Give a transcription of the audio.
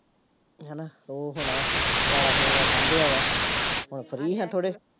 ਹਨਾ ਉਹ ਹੁਣ ਖਿਲਾਰਾ ਖਲੂਰਾ ਸਾਂਭਿਆ ਵਾ, ਹੁਣ free ਹਾਂ ਥੋੜ੍ਹੇ।